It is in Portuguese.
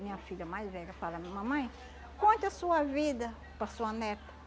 Minha filha mais velha fala, mamãe, conte a sua vida para sua neta.